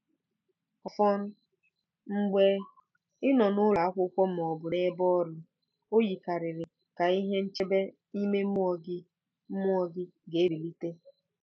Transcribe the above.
Ọfọn, mgbe ị nọ n'ụlọ akwụkwọ ma ọ bụ n'ebe ọrụ, o yikarịrị ka ihe nchebe ime mmụọ gị mmụọ gị ga-ebilite.